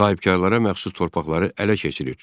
Sahibkarlara məxsus torpaqları ələ keçirir.